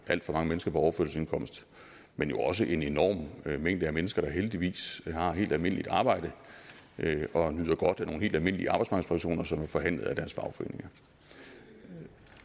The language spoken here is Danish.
alt for mange mennesker på overførselsindkomst men jo også en enorm mængde af mennesker der heldigvis har et helt almindeligt arbejde og nyder godt af nogle helt almindelige arbejdsmarkedspensioner som er forhandlet af deres fagforeninger